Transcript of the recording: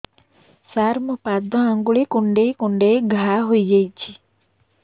ସାର ମୋ ପାଦ ଆଙ୍ଗୁଳି କୁଣ୍ଡେଇ କୁଣ୍ଡେଇ ଘା ହେଇଯାଇଛି